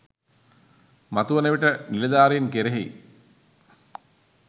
මතුවන විට නිලධාරින් කෙරෙහි